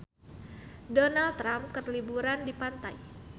Donald Trump keur liburan di pantai